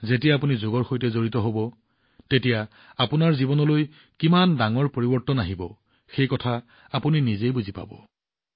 যেতিয়া আপুনি যোগত যোগদান কৰিব তেতিয়া আপোনাৰ জীৱনত কি ডাঙৰ পৰিৱৰ্তন আহিব নিজেই প্ৰত্যক্ষ কৰিব